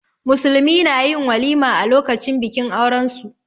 Musulmi na yin walima a lokacin bikin aurensu.